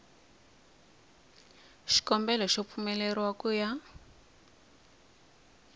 xikombelo xo pfumeleriwa ku ya